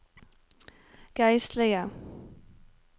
geistlige